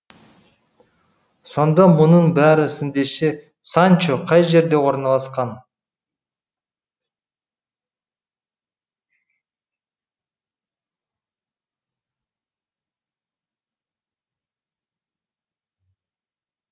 сонда мұның бәрі сіздіңше санчо қай жерде орналасқан